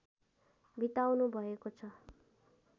बिताउनुभएको छ